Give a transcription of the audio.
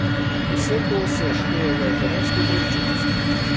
Vse to se šteje v ekonomsko upravičenost.